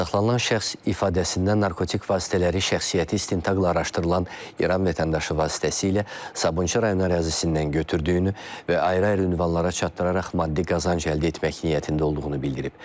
Saxlanılan şəxs ifadəsindən narkotik vasitələri şəxsiyyəti istintaqla araşdırılan İran vətəndaşı vasitəsilə Sabunçu rayon ərazisindən götürdüyünü və ayrı-ayrı ünvanlara çatdıraraq maddi qazanc əldə etmək niyyətində olduğunu bildirib.